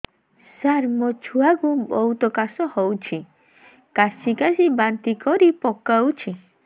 ସାର ମୋ ଛୁଆ କୁ ବହୁତ କାଶ ହଉଛି କାସି କାସି ବାନ୍ତି କରି ପକାଉଛି